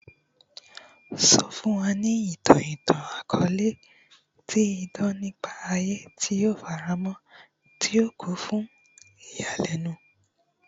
Sọ fun wa itan itan-akọọlẹ ti idan nipa aye ti o farapamọ ti o kun fun iyalẹnu